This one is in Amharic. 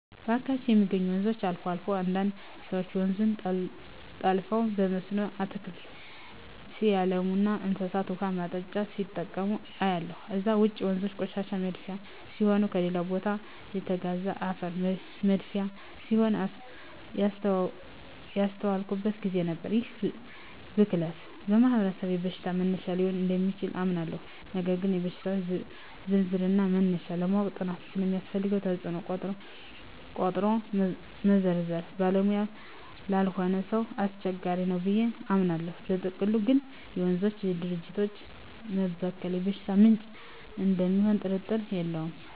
በአካባቢየ የሚገኙ ወንዞች አልፎ አልፎ አንዳንድ ሰወች ወንዙን ጠልፈው በመስኖ አትክልት ሲያለሙና ለእንስሳት ውሃ ማጠጫ ሲጠቀሙ አያለሁ። ከዛ ውጭ ወንዞ የቆሻሻ መድፊያ ሲሆኑና ከሌላ ቦታ የተጋዘ አፈር መድፊያ ሲሆኑም ያስተዋልኩበት ግዜ ነበር። ይህ ብክለት በማህበረሰባችን የበሽታ መነሻ ሊሆን እደሚችል አምናለሁ ነገር ግን የሽታወች ዝርዝርና መነሻ ለማወቅ ጥናት ስለሚያስፈልገው ተጽኖውን ቆጥሮ መዘርዘር ባለሙያ ላልሆነ ሰው አስቸጋሪ ነው ብየ አምናለው። በጥቅሉ ግን የወንዞችና የጅረቶች መበከል የበሽታ ምንጭ እደሚሆኑ ጥርጥር የለውም።